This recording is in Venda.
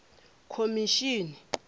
khomishini